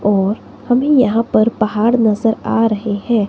और अभी यहां पर पहाड़ नजर आ रहे हैं।